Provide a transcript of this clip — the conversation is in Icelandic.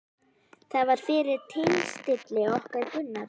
Það var fyrir tilstilli okkar Gunnars